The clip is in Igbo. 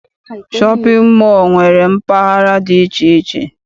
Shọpịn mọọ nwere mpaghara dị iche iche.